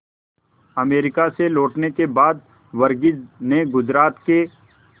America से लौटने के बाद वर्गीज ने गुजरात के